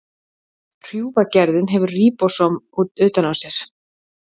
Hrjúfa gerðin hefur ríbósóm utan á sér.